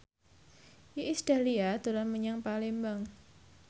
Iis Dahlia dolan menyang Palembang